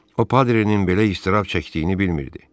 O Padrenin belə əzab çəkdiyini bilmirdi.